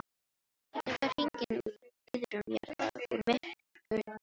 Þetta var hringing úr iðrum jarðar, úr myrku djúpi.